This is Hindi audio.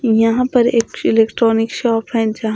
यहां पर एक फिलिट्रॉनिक शॉप है जहां--